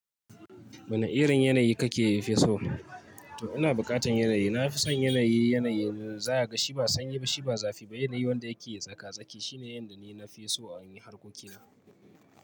Wane irin yanayi kake fesawa? To ina bukatan yanayi, na fi son yanayi, yanayi da za a ga shi ba sanyi ba, shi ba zafi ba, yanayi wanda yake tsaka-tsaki. Shine yanda ni na fi so a wurin harkokina.